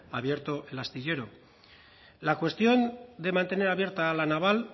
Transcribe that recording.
abierto el astillero la cuestión de mantener abierta la naval